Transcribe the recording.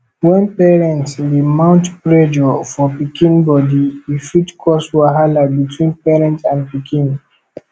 when parents dey mount pressure for pikin body e fit cause wahala between parent and pikin